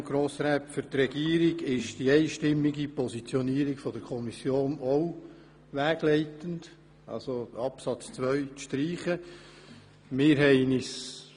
Für die Regierung ist die einstimmige Positionierung der Kommission, wonach Absatz 2 gestrichen werden soll, auch wegleitend.